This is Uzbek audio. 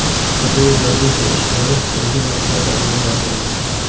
Qidiruv-razvedka ishlari tungi vaqtlarda amalga oshirildi.